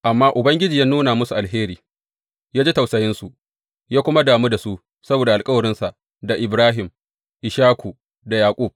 Amma Ubangiji ya nuna musu alheri, ya ji tausayinsu, ya kuma damu da su saboda alkawarinsa da Ibrahim, Ishaku da Yaƙub.